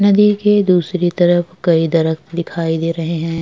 नदी के दूसरी तरफ कई दरक दिखाई दे रहे हैं।